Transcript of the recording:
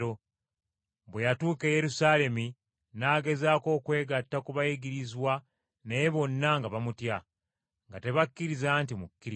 Bwe yatuuka e Yerusaalemi n’agezaako okwegatta ku bayigirizwa naye bonna nga bamutya, nga tebakkiriza nti mukkiriza.